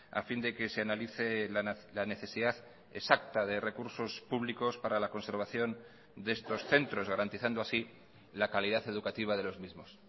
a fin de que se analice la necesidad exacta de recursos públicos para la conservación de estos centros garantizando así la calidad educativa de los mismos